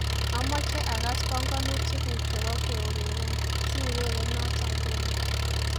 Amoche akass banganutikngu chebo keurereb, siureren noto nguni